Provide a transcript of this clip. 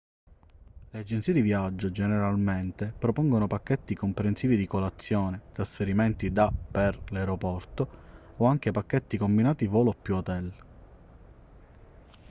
le agenzie di viaggio generalmente propongono pacchetti comprensivi di colazione trasferimenti da/per l'aeroporto o anche pacchetti combinati volo+hotel